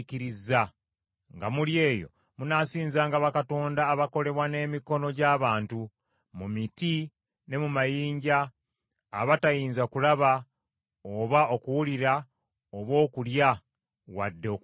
Nga muli eyo munaasinzanga bakatonda abakolebwa n’emikono gy’abantu, mu miti ne mu mayinja, abatayinza kulaba, oba okuwulira oba okulya, wadde okuwunyiriza.